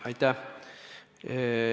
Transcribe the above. Aitäh!